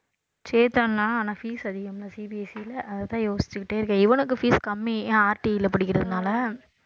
சேர்த்தருலாம் ஆனா fees அதிகம் இல்ல CBSE ல அதைத்தான் யோசிச்சுக்கிட்டே இருக்கேன் இவனுக்கு fees கம்மி ஏன் RTE ல படிக்கிறதுனால